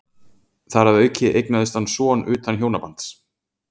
þar að auki eignaðist hann son utan hjónabands